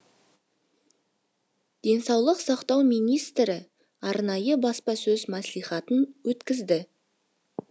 денсаулық сақтау министрі арнайы баспасөз мәслихатын өткізді